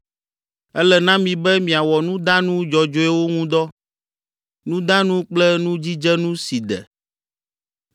Ele na mi be miawɔ nudanu dzɔdzɔewo ŋu dɔ, nudanu kple nudzidzenu si de.